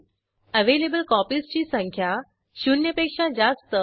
येथे बुक्स टेबलमधून उपलब्ध प्रतींची संख्या 1 ने कमी करण्यासाठी क्वेरी कार्यान्वित करू